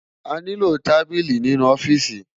Àniló tábili ninu òfìsí